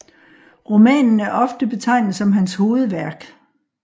Romanen er ofte betegnet som hans hovedværk